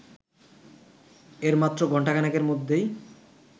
এর মাত্র ঘন্টাখানেকের মধ্যেই